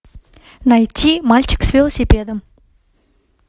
найти мальчик с велосипедом